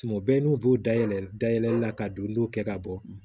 Tuma bɛɛ n'u b'u dayɛlɛ dayɛlɛ la ka don n'o kɛ ka bɔ